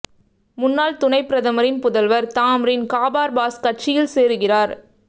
முன்னாள் துணைப் பிரதமரின் புதல்வர் தாம்ரின் காபார் பாஸ் கட்சியில் சேருகிறார்